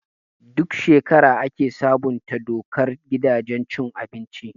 Duk shekara ake sabunta dokar gidajen cin abinci.